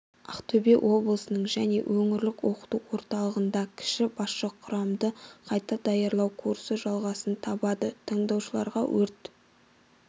ақтөбе облысының және өңірлік оқыту орталығында кіші басшы құрамды қайта даярлау курсы жалғасын табуда тыңдаушыларға өрт